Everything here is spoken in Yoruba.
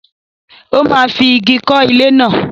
Ó máa fi ìgi kọ́ ilé náà.